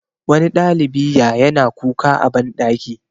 wani ɗalibi ya yana kuka a banɗaki